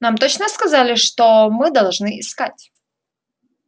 нам точно сказали что мы должны искать